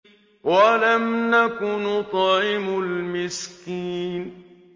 وَلَمْ نَكُ نُطْعِمُ الْمِسْكِينَ